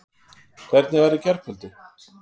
Hvernig var í gærkvöldi?